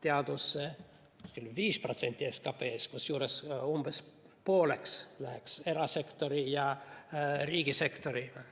teadusesse kuskil 5% SKP‑st, kusjuures umbes pooleks oleks erasektori ja riigisektori osa.